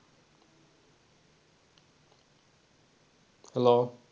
hello